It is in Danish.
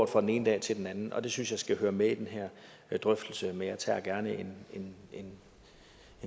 fra den ene dag til den anden og det synes jeg hører med i den her drøftelse men jeg tager gerne en